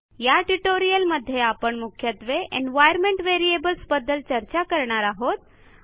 या ट्युटोरियलमध्ये आपण मुख्यत्वे एन्व्हायर्नमेंट व्हेरिएबल्स बद्दल चर्चा करणार आहोत